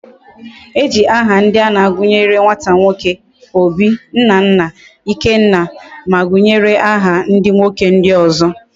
Eji aha ndia ana agunye nwata nwoke; Obi, Nnanna, Ikenna, ma gunyere aha ndi nwoke ndi ozo